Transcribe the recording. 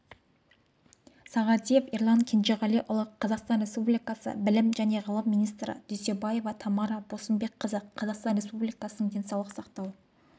сағадиев ерлан кенжеғалиұлы қазақстан республикасы білім және ғылым министрі дүйсенова тамара босымбекқызы қазақстан республикасының денсаулық сақтау